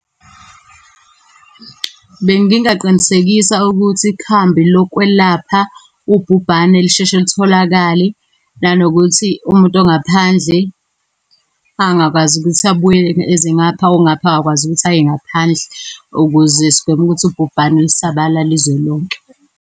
Bengingaqinisekisa ukuthi ikhambi lokwelapha ubhubhane lisheshe litholakale, nanokuthi umuntu ongaphandle angakwazi ukuthi abuye eze ngapha, ongapha angakwazi ukuthi aye ngaphandle, ukuze sigweme ukuthi ubhubhane lusabalale izwe lonke.